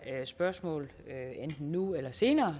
spørgsmål enten nu eller senere